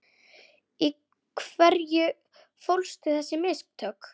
Í hverju fólust þessi mistök?